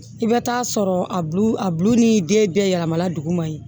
I bɛ taa sɔrɔ a bu a bulu ni den bɛɛ yɛlɛmala dugu ma yen